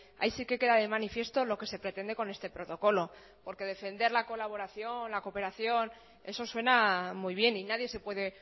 ahí sí que queda de manifiesto lo que se pretende con este protocolo porque defender la colaboración la cooperación eso suena muy bien y nadie se puede